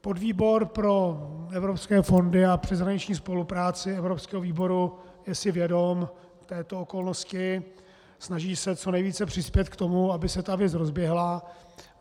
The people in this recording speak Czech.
Podvýbor pro evropské fondy a přeshraniční spolupráci evropského výboru je si vědom této okolnosti, snaží se co nejvíce přispět k tomu, aby se ta věc rozběhla.